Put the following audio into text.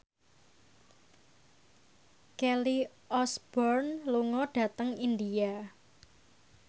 Kelly Osbourne lunga dhateng India